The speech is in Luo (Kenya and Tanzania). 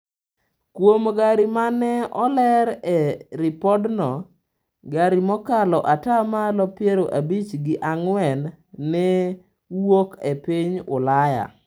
Kuom gari ma ne oler e ripodno, gari mokalo ata malo piero abich gi ang'wen ne wuok e piny Ulaya.